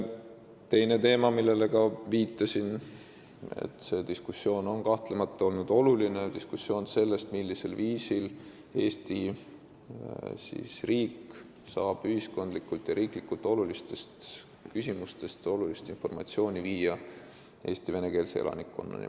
Teine teema, millele ma ka viitasin: see diskussioon on kahtlemata oluline – diskussioon selle üle, millisel viisil saab Eesti riik ühiskondlikult ja riiklikult olulist informatsiooni viia Eesti venekeelse elanikkonnani.